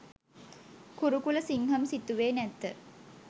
කුරුකුලසිංහම් සිතුවේ නැත.